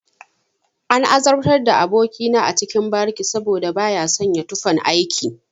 An azabtar da aboki na a cikin bariki saboda baya sanya tufan aiki.